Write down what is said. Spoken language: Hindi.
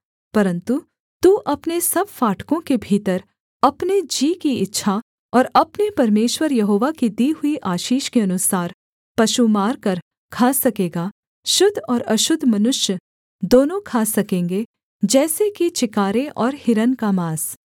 परन्तु तू अपने सब फाटकों के भीतर अपने जी की इच्छा और अपने परमेश्वर यहोवा की दी हुई आशीष के अनुसार पशु मारकर खा सकेगा शुद्ध और अशुद्ध मनुष्य दोनों खा सकेंगे जैसे कि चिकारे और हिरन का माँस